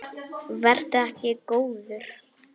Vertu ekki góður.